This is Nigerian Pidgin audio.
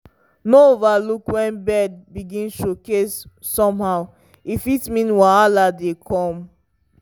no overlook when bird begin showcase somehow e fit mean wahala dey come.